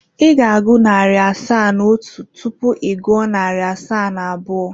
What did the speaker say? Ị ga-agụ narị asaa na otu tupu ị gụọ narị asaa na abụọ.